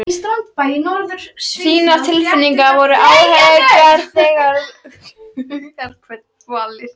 Þínar tilfinningar, þínar áhyggjur, þínar hugarkvalir.